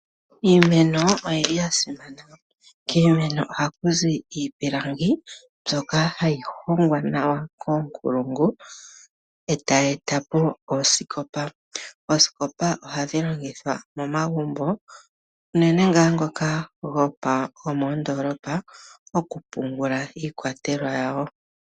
Iimeno oya simana. Kiimeno ohaku zi iipilangi mbyoka hayi hongwa nawa koonkulungu e taya eta po oosikopa. Oosikopa ohadhi longithwa momagumbo unene ngaa ngoka gomoondolopa, okupungula iikwatelwa yawo.